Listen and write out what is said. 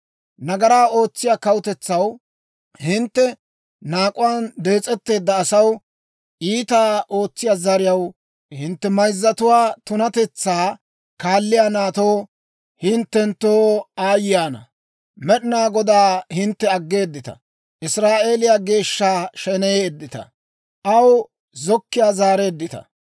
«Nagaraa ootsiyaa kawutetsaw, hintte naak'uwaan dees'etteedda asaw, iitaa ootsiyaa zariyaw, hintte mayzatuwaa tunatetsaa kaaliyaa naatoo, hinttenttoo aayye ana! Med'inaa Godaa hintte aggeeddita; Israa'eeliyaa Geeshsha sheneyeeddita; aw zokkiyaa zaareeddita.